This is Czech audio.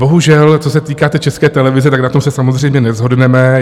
Bohužel, co se týká té České televize, tak na tom se samozřejmě neshodneme.